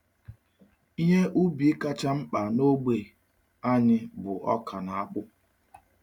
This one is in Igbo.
Ihe ubi kacha mkpa n’ogbe um anyị bụ ọka na akpụ.